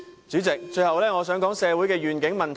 主席，最後我想討論社會的願景問題。